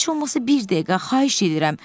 Heç olmasa bir dəqiqə xahiş edirəm.